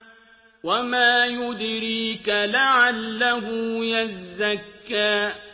وَمَا يُدْرِيكَ لَعَلَّهُ يَزَّكَّىٰ